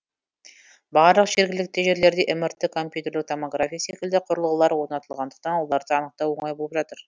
барлық жергілікті жерлерде мрт компьютерлік томография секілді құрылғылар орнатылғандықтан оларды анықтау оңай болып жатыр